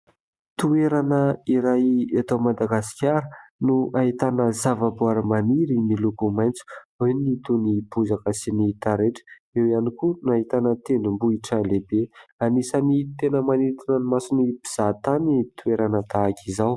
Toerana iray eto Madagasikara no ahitana zava-boary maniry miloko maitso. Ao ny toy ny bozaka sy ny taretra, eo ihany koa ny ahitana tendrombohitra lehibe. Anisan'ny tena manintona ny mason'ny mpizahantany ny toerana tahaka izao.